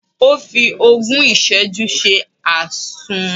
Ó fi ogún ìsẹ́jú ṣe Àsun.